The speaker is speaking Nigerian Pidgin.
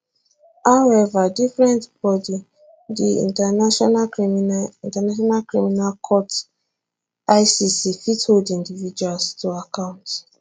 however different body di international criminal international criminal court icc fit hold individuals to account